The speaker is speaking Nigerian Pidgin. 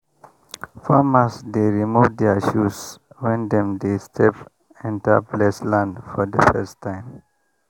farmers dey remove their shoes when dem dey step enter blessed land for the first time.